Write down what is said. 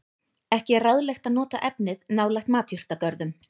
Ekki er ráðlegt að nota efnið nálægt matjurtagörðum.